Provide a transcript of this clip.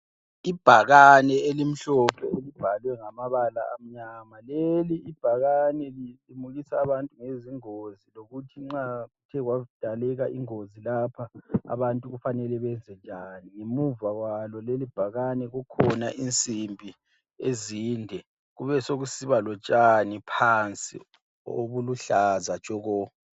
Ibhakane elimhlophe elibhalwe ngamabala amnyama. Leli ibhakane lilimukisa abantu ngezingozi lokuthi nxa kwadaleka ingozi lapha abantu kumele benze njani. Abantu kumele benze njani. Ngemuva kwalo leli bhakane kulensimbi ezinde besekusiba lotshani phansi obuluhlaza tshoko.